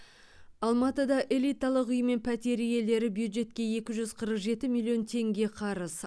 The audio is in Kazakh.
алматыда элиталық үй мен пәтер иелері бюджетке екі жүз қырық жеті миллион теңге қарыз